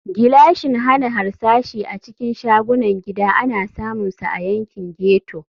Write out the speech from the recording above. Gilashin hana harsashi a cikin shagunan gida ana samunsa a yankin ghetto.